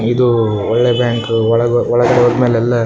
ಇದು ಒಳ್ಳೆ ಬ್ಯಾಂಕು ಒಳಗೋ ಒಳಗಡೆ ಓದ್‌ಮೇಲೆ ಎಲ್ಲ --